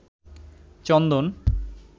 চন্দন